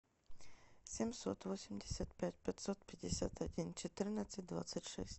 семьсот восемьдесят пять пятьсот пятьдесят один четырнадцать двадцать шесть